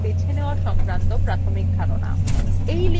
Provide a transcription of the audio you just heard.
তথ্য ফিল্টার বা বেছে নেওযা সংক্রান্ত প্রাথমিক ধারণা